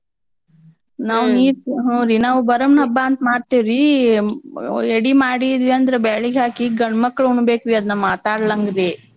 ನಾವ್ ನೀರ್ ಹೂರೀ ನಾವ್ ಬರಮ್ನ್ ಹಬ್ಬ ಅಂತ್ ಮಾಡ್ತೇವ್ರಿ ಒ~ ಯಡಿಮಾಡಿದ್ವ್ಯಂದ್ರ ಬ್ಯಾಳಿಗ್ ಹಾಕಿ ಗಂಡ್ಮಕ್ಳ್ ಉಣ್ಬೇಕ್ರೀ ಅದ್ನ ಮಾತಾಡ್ಳ್ಂಗ್ರೀ.